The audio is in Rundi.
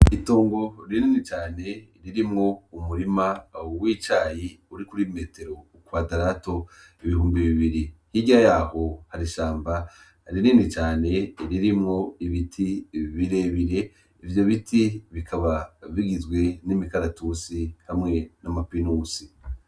Itongo rinini cane ririmwo umurima w'icayi uri kuri metero kwadarato ibihumbi bibiri hirya yaho hari ishamba rinini cane ririmwo ibiti birerebire ivyo biti bikaba bigizwe n'imikaratusi hamwe n'amapinusi